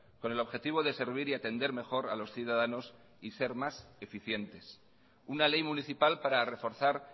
con el objetivo de servir y atender mejor a los ciudadanos y ser más eficientes una ley municipal para reforzar